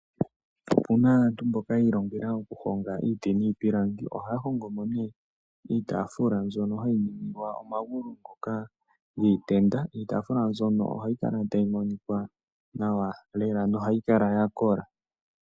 Opuna aantu mboka yi ilongela okuhonga iiti niipilangi. Ohaya hongo mo nee iitafula mbyoka hayi ningilwa omagulu ngoka giitenda. Iitaafula mbyono ohayi kala tayi monika nawa lela nohayi kala yakola.